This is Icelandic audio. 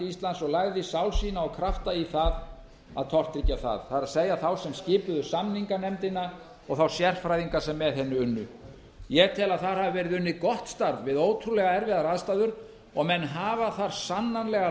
íslands og lagði sál sína og krafta í það að tortryggja það það er þá krafta sem skipuðu samninganefndina og þá sérfræðinga sem með henni unnu ég tel að þar hafi verið unnið gott starf við ótrúlega erfiðar aðstæður og menn hafa þar sannarlega